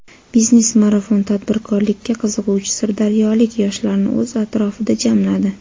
"Biznes marafon" tadbirkorlikka qiziquvchi Sirdaryolik yoshlarni o‘z atrofida jamladi.